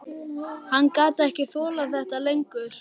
Hann gat ekki þolað þetta lengur.